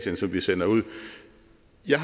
jeg